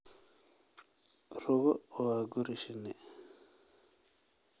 Rugo waa guri shinni.